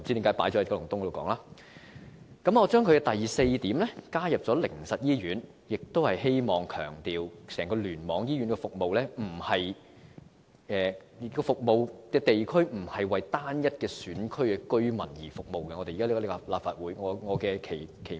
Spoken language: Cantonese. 我在第四點加入了靈實醫院，旨在強調整個醫院聯網的服務地區並非為單一選區的居民服務，而這亦是我加入立法會的期望。